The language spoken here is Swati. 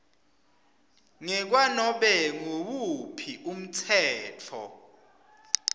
ngekwanobe nguwuphi umtsetfo